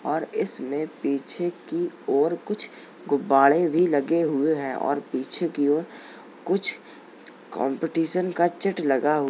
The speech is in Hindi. और इसमे पीछे कि ओर कुछ गुब्बाडे भी लगे हुए हैं और पीछे कि ओर कुछ कॉम्प्टीशन का चिट लगा हुआ --